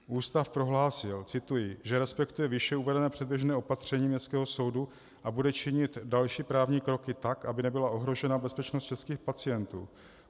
Ústav prohlásil, cituji, že respektuje výše uvedené předběžné opatření městského soudu a bude činit další právní kroky tak, aby nebyla ohrožena bezpečnost českých pacientů.